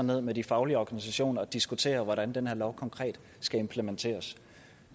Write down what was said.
ned med de faglige organisationer og diskutere hvordan den her lov konkret skal implementeres